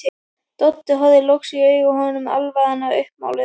Doddi horfir loks í augu honum, alvaran uppmáluð.